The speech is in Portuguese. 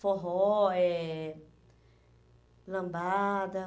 Forró eh lambada.